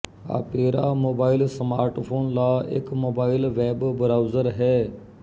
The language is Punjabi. ਆਪੇਰਾ ਮੋਬਾਇਲ ਸਮਾਰਟਫ਼ੋਨ ਲ ਇੱਕ ਮੋਬਾਇਲ ਵੈਬ ਬਰਾਉਜ਼ਰ ਹੈ